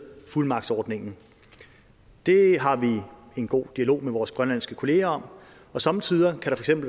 fuldmagtsordningen det har vi en god dialog med vores grønlandske kollegaer om og somme tider kan